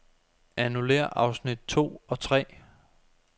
Annullér afsnit to og tre.